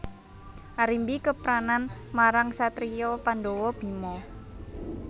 Arimbi kepranan marang satriya Pandhawa Bima